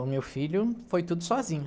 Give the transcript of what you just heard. O meu filho foi tudo sozinho.